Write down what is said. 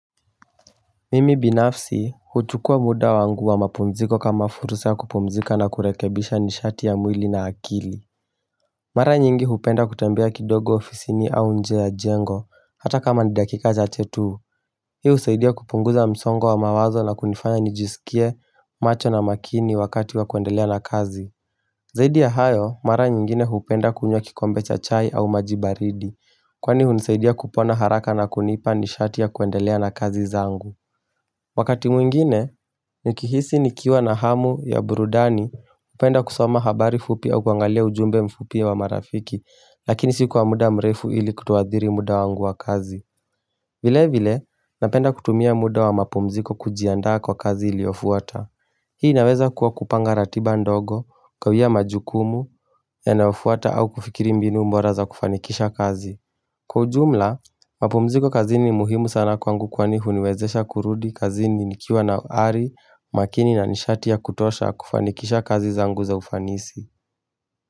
Mimi binafsi huchukua muda wangu wa mapumziko kama fursa ya kupumzika na kurekebisha nishati ya mwili na akili Mara nyingi hupenda kutembea kidogo ofisini au nje ya jengo hata kama ni dakika chache tu hiyo usaidia kupunguza msongo wa mawazo na kunifanya nijisikie macho na makini wakati wa kuendelea na kazi Zaidi ya hayo mara nyingine hupenda kunywa kikombe cha chai au maji baridi kwani hunisaidia kupona haraka na kunipa nishati ya kuendelea na kazi zangu Wakati mwingine, nikihisi nikiwa na hamu ya burudani, upenda kusoma habari fupi au kuangalia ujumbe mfupi wa marafiki, lakini si kwa muda mrefu ili kutoadhiri muda wangu wa kazi. Vile vile, napenda kutumia muda wa mapumziko kujiandaa kwa kazi iliofuata. Hii inaweza kuwa kupanga ratiba ndogo, kawia majukumu, yanayofuata au kufikiri mbinu bora za kufanikisha kazi. Kwa jumla, mapumziko kazini muhimu sana kwangu kwani huniwezesha kurudi kazini nikiwa na ari makini na nishati ya kutosha kufanikisha kazi zangu za ufanisi.